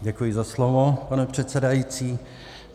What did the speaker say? Děkuji za slovo, pane předsedající.